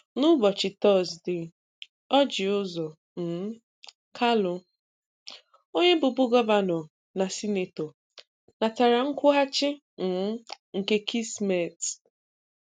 Na ụbọchị Tọzdee, Orji Uzor um Kalu, onye bụbu gọvanọ na sinetọ, natara nkwụghachi um nke kismet.